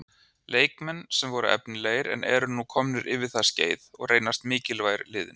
Leikmenn sem voru efnilegir en eru nú komnir yfir það skeið og reynast mikilvægir liðinu.